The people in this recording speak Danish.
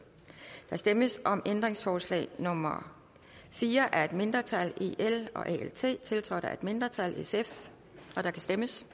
der stemmes om ændringsforslag nummer fire af et mindretal tiltrådt af et mindretal og der kan stemmes